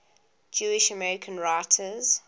jewish american writers